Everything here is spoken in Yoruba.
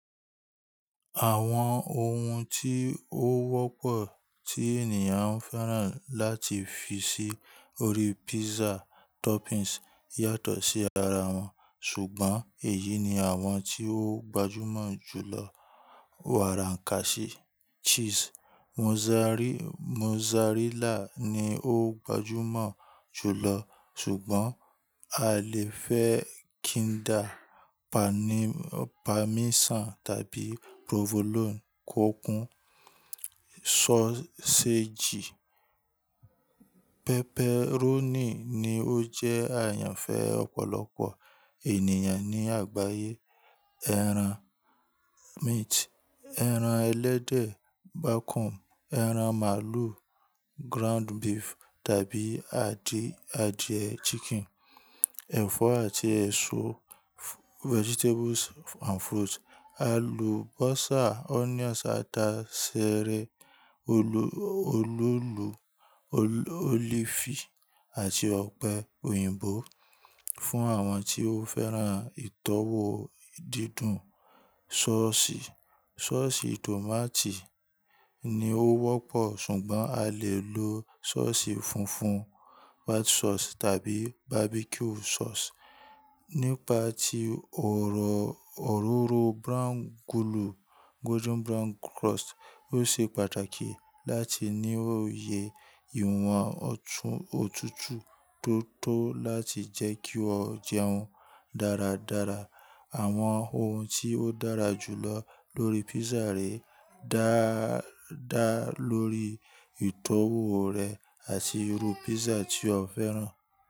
Àwọn ohun tí ó wọ́pọ̀ tí ènìyàn ń fẹ́ràn láti fi sí orí pizza toppings yàtọ̀ sí ara wọn, ṣùgbọ́n èyí ni àwọn tí ó gbajúmọ̀ jù lọ wàrànkàsí cheese mozzarilla ni ó gbajúmọ̀ jù lọ ṣùgbọ́n a lè fẹ́ kínda pani parmesan tàbí provolone kọ kun, sọ́seéjì pepperoni ni ó jẹ́ àyànfẹ́ ọ̀pọ̀lọpọ̀ ènìyàn ní àgbáyé, ẹran meat, ẹran ẹlẹ́dẹ̀ bacon, ẹran màlúù ground beef tàbí adìẹ adìẹ chicken, ẹ̀fọ́ àti ẹ̀ṣọ́ vegetables and fruit, alùbọ́sà onions àta sẹ̀rẹ̀ olóòlù olifi àti ọ̀pẹ òyìnbó fún àwọn tí ó fẹ́ràn ìtọ́wò dídùn sọ́ọ̀sì. Sọ́ọ̀sì tòmátì ni ó wọ́pọ̀ ṣùgbọ́n a lè lo sọ́ọ̀sì funfun white sauce tàbí barbecue sauce. Nípa ti ọ̀rọ̀ òróró brown gulu golden brown crust ó ṣe pàtàkì láti ní òye ìwọ̀n ọ̀tún òtútù tó tó láti jẹ́ kí o jẹun dáradára. Àwọn ohun tí ó dára jù lọ lórí pizza rẹ dáa dáa lórí ìtọ́wò rẹ àti irú pizza tí o fẹ́ràn.